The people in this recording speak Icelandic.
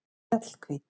Mjallhvít